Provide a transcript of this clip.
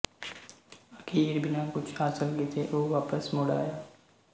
ਅਖ਼ੀਰ ਬਿਨਾਂ ਕੁੱਝ ਹਾਸਲ ਕੀਤੇ ਉਹ ਵਾਪਸ ਮੁੜ ਆਇਆ